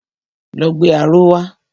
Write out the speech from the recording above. Lọ gbé aró wa!